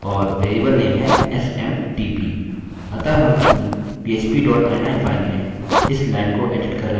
और variable name है smtp